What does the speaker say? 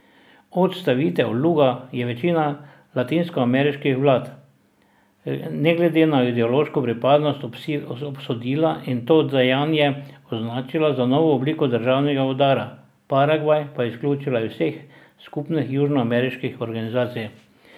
Odstavitev Luga je večina latinskoameriških vlad, ne glede na ideološko pripadnost, obsodila in to dejanje označila za novo obliko državnega udara, Paragvaj pa izključila iz vseh skupnih južnoameriških organizacij.